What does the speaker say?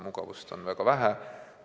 Mugavust on väga vähe.